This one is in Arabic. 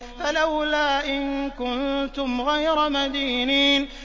فَلَوْلَا إِن كُنتُمْ غَيْرَ مَدِينِينَ